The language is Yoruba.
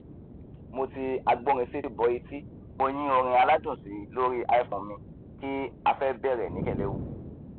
mo ti agbórinsétí bọ ẹtí mo yín ọrin aládùn síi lóri iphone mi kí afẹ bẹrẹ ní kẹlẹwu